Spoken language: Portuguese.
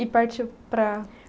E partiu para